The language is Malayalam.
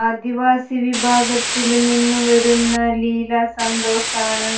ആദിവാസി വിഭാഗത്തില് നിന്നും വരുന്ന ലീല സന്തോഷാണ്